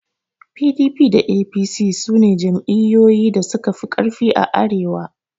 PDP da APC sune jam'iyyoyi da suka fi ƙarfi a arewa.